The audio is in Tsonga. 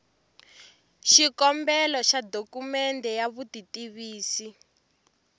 xikombelo xa dokumende ya vutitivisi